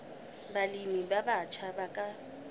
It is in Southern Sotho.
balemi ba batjha ba ka